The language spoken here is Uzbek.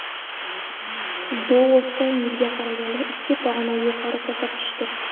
Bu o‘tgan yilga qaraganda ikki pog‘ona yuqori ko‘rsatkichdir.